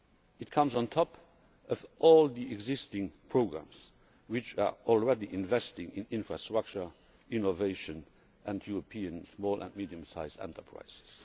It comes on top of all the existing programmes which are already investing in infrastructure, innovation and European small and medium sized enterprises.